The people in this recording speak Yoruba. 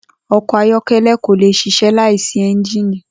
O̩kò̩ ayó̩ké̩lé̩ kò lè s̩is̩é̩ láì sí é̩ńjìnì